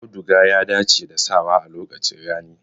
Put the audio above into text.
Auduga ya dace da sawa a lokacin rani.